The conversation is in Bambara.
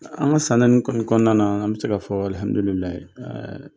An ka san naani kɔni kɔnɔna na , an bi se ka fɔ alihamidulilayi